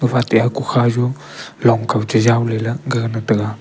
gapha te hokukha jo longkaw chejaw leley gagana ngan taiga.